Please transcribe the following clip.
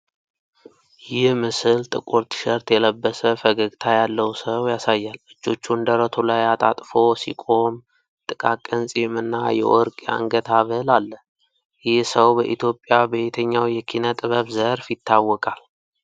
ይህ ምስል ጥቁር ቲሸርት የለበሰ ፈገግታ ያለው ሰው ያሳያል። እጆቹን ደረቱ ላይ አጣጥፎ ሲቆም፣ ጥቃቅን ፂም እና የወርቅ የአንገት ሐብል አለ። ይህ ሰው በኢትዮጵያ በየትኛው የኪነጥበብ ዘርፍ ይታወቃል?